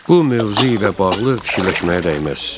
Bu mövzu ilə bağlı fikirləşməyə dəyməz.